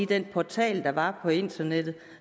den portal der var på internettet